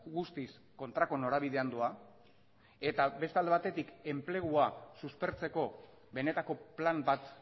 guztiz kontrako norabidean doa eta beste alde batetik enplegua suspertzeko benetako plan bat